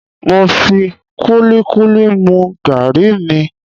Mo fi kúlíkúlí mu gàrí mi